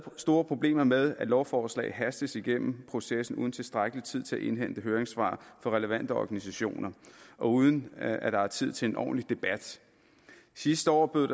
store problemer med at lovforslag hastes igennem processen uden tilstrækkelig tid til at indhente høringssvar fra relevante organisationer og uden at der er tid til en ordentlig debat sidste år bød